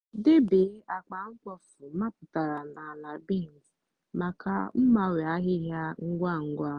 debe akpa mkpofu mapụtara na ala bins maka mgbanwe ahịhịa ngwa ngwa.